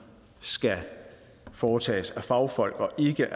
skal foretages af fagfolk og ikke